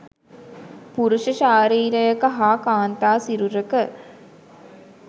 පුරුෂ ශාරීරයක හා කාන්තා සිරුරක